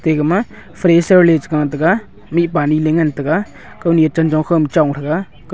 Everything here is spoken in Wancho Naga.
ega ma fresher le che gah tega mipa ani le ngan tega kau ni chanchong kho ma chong thega.